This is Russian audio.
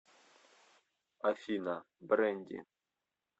афина брэнди